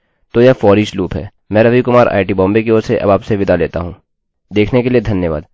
देखने के लिए धन्यवाद